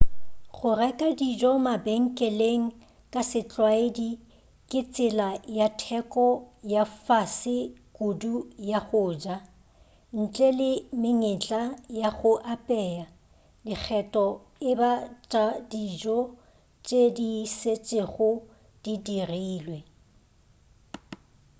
go reka dijo mabenkeleng ka setlwaedi ke tsela ya theko ya fase kudu ya go ja ntle le menyetla ya go apea dikgetho e ba tša dijo di šetšego di dirilwe